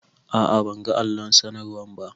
A a ban ga allon sanarwan ba.